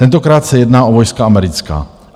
Tentokrát se jedná o vojska americká.